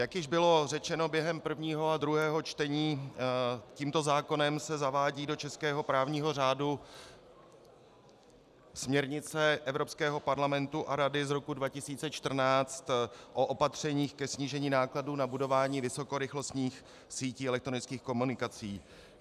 Jak už bylo řečeno během prvního a druhého čtení, tímto zákonem se zavádí do českého právního řádu směrnice Evropského parlamentu a Rady z roku 2014 o opatřeních ke snížení nákladů na budování vysokorychlostních sítí elektronických komunikací.